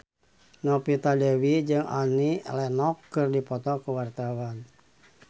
Novita Dewi jeung Annie Lenox keur dipoto ku wartawan